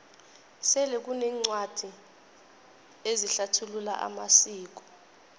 sele kuneencwadi ezihlathulula amasiko